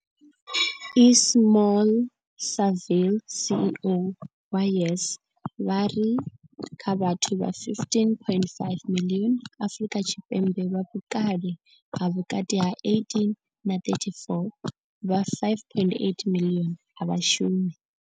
Ismail-Saville CEO wa YES, vha ri kha vhathu vha 15.5 miḽioni Afrika Tshipembe vha vhukale ha vhukati ha 18 na 34, vha 5.8 miḽioni a vha shumi.